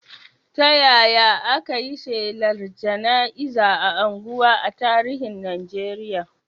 Ta yaya aka yi shelar jana'iza a unguwa a tarihin Najeriya?